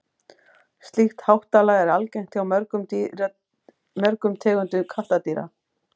slíkt háttalag er algengt hjá mörgum tegundum kattardýra